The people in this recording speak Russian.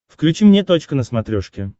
включи мне точка на смотрешке